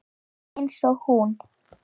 Eins og hún.